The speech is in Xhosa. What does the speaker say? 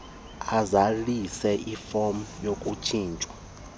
azalise ifom yokutshintshwa